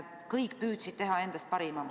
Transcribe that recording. Kõik püüdsid anda endast parima.